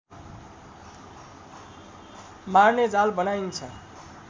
मार्ने जाल बनाइन्छ